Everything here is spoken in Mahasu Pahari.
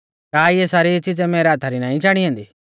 का इऐ सारी च़िज़ै मैरै हाथा री नाईं चाणी ऐन्दी